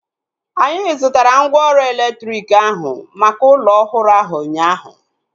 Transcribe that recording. Anyị zụtara mgwooru elektriki ahu maka ụlọ ọhụrụ ahu ụnyaahụ